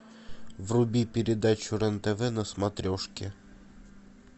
вруби передачу рен тв на смотрешке